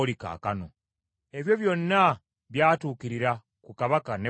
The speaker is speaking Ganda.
Ebyo byonna byatuukirira ku Kabaka Nebukadduneeza.